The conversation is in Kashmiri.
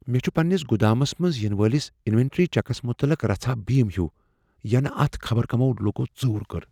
مےٚ چھ پننس گدامس منز ینہٕ وٲلس انوینٹری چیکس متعلق رژھا بیم ہیُو ینہٕ اتھ خبر کمو لوٗکو ژوٗر کٔر۔